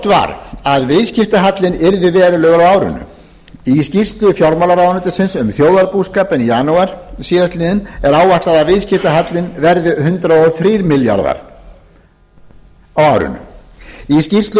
var að viðskiptahallinn yrði verulegur á árinu í skýrslu fjármálaráðuneytisins um þjóðarbúskapinn í janúar síðastliðinn er áætlað að viðskiptahallinn verði hundrað og þrír milljarðar króna á árinu í skýrslu frá því í